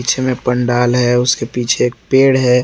पीछे में पंडाल है उसके पीछे एक पेड़ है।